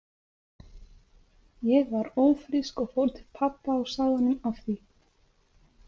Ég var ófrísk og fór til pabba og sagði honum af því.